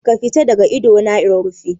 Ka fita daga ido na in rufe.